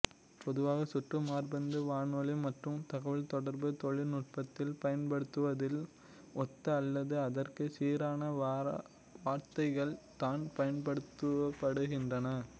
பொதுவாக சற்று மரபார்ந்த வானொலி மற்றும் தகவல்தொடர்பு தொழில்நுட்பத்தில் பயன்படுத்தப்படுவதை ஒத்த அல்லது அதற்கு சீரான வார்த்தைகள் தான் பயன்படுத்தப்படுகின்றன